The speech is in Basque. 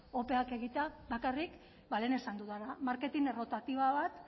opeak egitea bakarrik lehen esan dudana marketing errotatiba bat